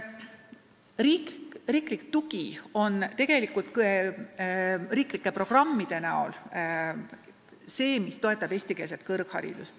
Riik toetab eestikeelset kõrgharidust riiklike programmide näol.